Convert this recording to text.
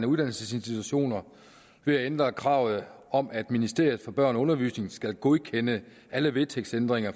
uddannelsesinstitutioner ved at ændre kravet om at ministeriet for børn og undervisning skal godkende alle vedtægtsændringer